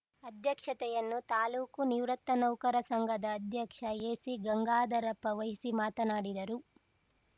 ಅಧ್ಯಕ್ಷತೆಯನ್ನು ತಾಲೂಕು ನಿವೃತ್ತ ನೌಕರ ಸಂಘದ ಅಧ್ಯಕ್ಷ ಎಸಿ ಗಂಗಾಧರಪ್ಪ ವಹಿಸಿ ಮಾತಾಡಿದರು